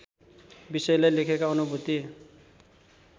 विषयलाई लेखकका अनुभूति